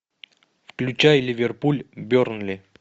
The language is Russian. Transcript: включай ливерпуль бернли